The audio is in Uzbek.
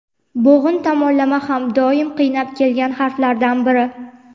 bo‘g‘in tomonlama ham doim qiynab kelgan harflardan biri.